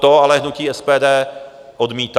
To ale hnutí SPD odmítá.